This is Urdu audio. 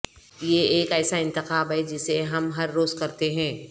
یہ ایک ایسا انتخاب ہے جسے ہم ہر روز کرتے ہیں